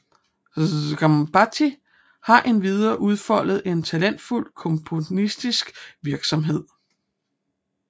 Sgambati har endvidere udfoldet en talentfuld komponistisk virksomhed